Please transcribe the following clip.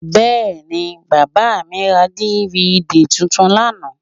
Bẹ́ẹ̀ni, bàbà mi ra DVD tuntun lánàá?